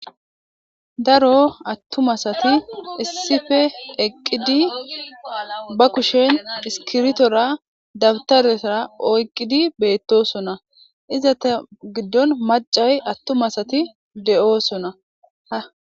daro attumasati issife eqqidi ba kushen iskirtora dabtarea oyqqidi beettosona iza ta giddon macay attumasati de7oosona